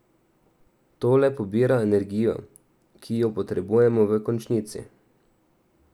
To le pobira energijo, ki jo potrebujemo v končnici.